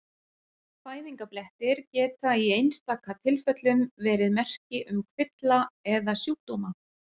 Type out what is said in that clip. Fæðingarblettir geta í einstaka tilfellum verið merki um kvilla eða sjúkdóma.